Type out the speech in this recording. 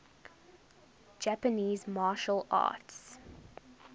japanese martial arts